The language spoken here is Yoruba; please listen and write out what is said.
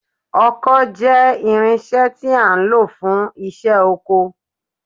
Ọkọ́ jẹ́ irinṣẹ́ tí a ń lò fún iṣẹ́ oko